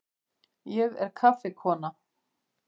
Ég er kaffikona.